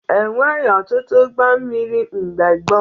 E nweghi ọtụtụ ụgbọ mmiri mgbe gboo